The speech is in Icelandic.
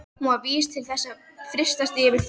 Hún var vís til þess að fyrtast yfir því.